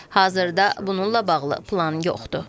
Hazırda bununla bağlı plan yoxdur.